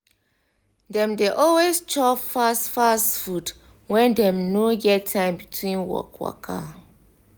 dem dey always chop fast fast food when dem no get time between work waka.